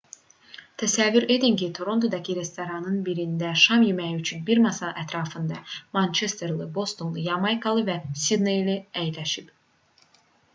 təsəvvür edin ki torontodakı restoranların birində şam yeməyi üçün bir masa ətrafında mançesterli bostonlu yamaykalı və sidneyli əyləşib